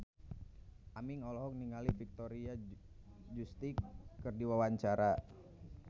Aming olohok ningali Victoria Justice keur diwawancara